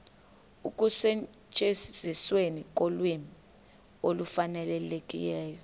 ekusetyenzisweni kolwimi olufanelekileyo